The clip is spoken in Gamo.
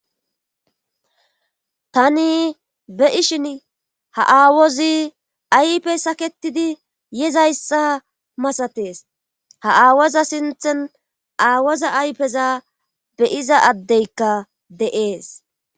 tani beishin ha aawozi ayfe saketidi yezayssa masatees ha aawoza sinthen aawoza aypeza beyiza addeykka de7ees